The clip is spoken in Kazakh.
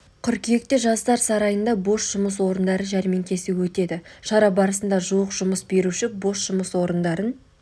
қыркүйекте жастар сарайында бос жұмыс орындары жәрмеңкесі өтеді шара барысында жуық жұмыс беруші бос жұмыс орындарын